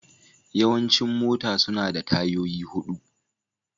Yawancin mota suna da tayoyi hudu.